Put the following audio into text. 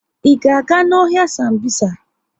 I ga-aga n'ọhịa Sambisa?